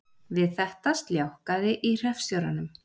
Við þetta sljákkaði í hreppstjóranum